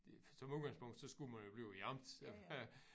Som udgangspunkt så skulle man jo blive i æ amt